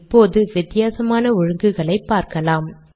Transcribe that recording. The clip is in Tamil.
இப்போது வித்தியாசமான ஒழுங்குகளை பார்க்கலாம்